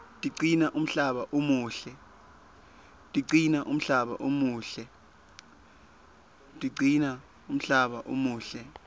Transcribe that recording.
tigcina umhlaba umuhle